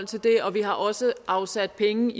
til det og vi har også afsat penge